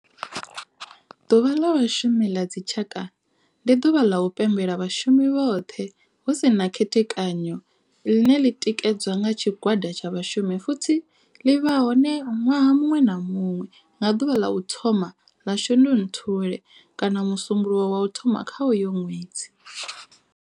Ḓuvha la Vhashumi ḽa dzi tshaka, ndi duvha ḽa u pembela vhashumi vhothe hu si na u khethekanya ḽine ḽi tikedzwa nga tshigwada tsha vhashumi futhi ḽi vha hone nwaha munwe na munwe nga duvha ḽa u thoma 1 ḽa Shundunthule kana musumbulowo wa u thoma kha uyo nwedzi.